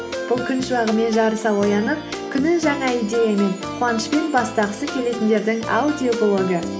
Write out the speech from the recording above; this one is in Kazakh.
бұл күн шуағымен жарыса оянып күнін жаңа идеямен қуанышпен бастағысы келетіндердің аудиоблогы